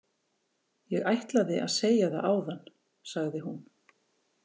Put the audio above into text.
Ég ætlaði að segja það áðan, sagði hún.